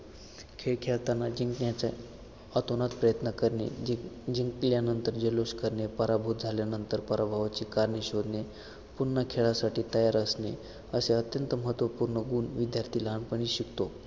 खेळ खेळताना जिंकण्याचा अतोनात प्रयत्न करणे जिंक~ जिंकल्यानंतर जल्लोष करणे पराभूत झाल्यानंतर पराभवाची कारणे शोधणे पुन्हा खेळासाठी तयार असणे असे अत्यंत महत्त्वपूर्ण गुण विद्यार्थी लहानपणी शिकतो